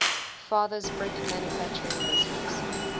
father's brick manufacturing business